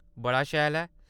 बड़ा शैल ऐ।